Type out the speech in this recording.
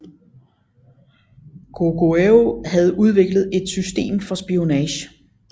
Goguryeo havde udviklet et system for spionage